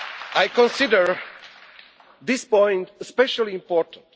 I consider this point especially important.